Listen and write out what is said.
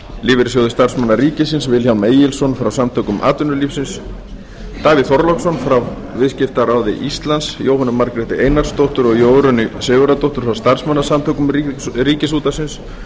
lífeyrissjóði starfsmanna ríkisins vilhjálm egilsson frá samtökum atvinnulífsins davíð þorláksson frá viðskiptaráði íslands jóhönnu margréti einarsdóttur og jórunni sigurðardóttur frá starfsmannasamtökum ríkisútvarpsins